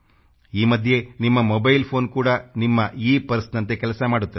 ಈ ಮಧ್ಯೆ ನಿಮ್ಮ ಮೊಬೈಲ್ ಫೋನ್ ಕೂಡ ನಿಮ್ಮ ಈ ಪರ್ಸ್ನಂತೆ ಕೆಲಸ ಮಾಡುತ್ತದೆ